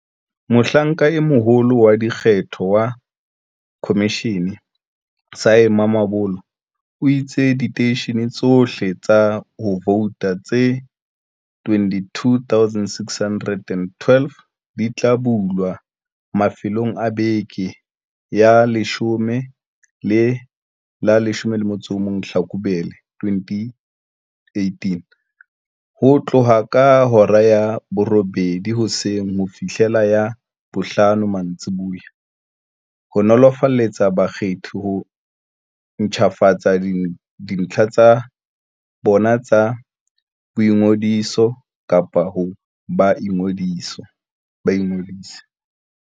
Mohlanka e Moholo wa Dikgetho wa khomishene, Sy Mamabolo, o itse diteishene tsohle tsa ho vouta tse 22 612 di tla bulwa mafelong a beke ya la 10 le la 11 Hlakubele 2018, ho tloha ka hora ya borobedi hoseng ho fihlela ya bohlano mantsiboya, ho nolofaletsa bakgethi ho ntjhafatsa dintlha tsa bona tsa boingodiso kapa hore ba ingodise.